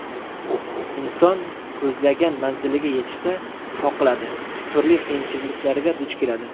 Inson ko‘zlagan manziliga yetishda qoqiladi, turli qiyinchiliklarga duch keladi.